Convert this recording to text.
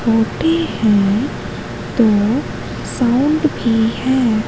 होती हैं तो साउंड की हैं।